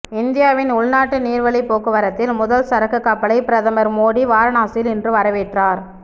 இந்தியாவின் உள்நாட்டு நீர்வழி போக்குவரத்தில் முதல் சரக்குக் கப்பலை பிரதமர் மோடி வாரணாசியில் இன்று வரவேற்றார்